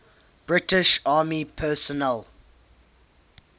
british army personnel